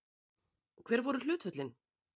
Hver voru hlutföllin?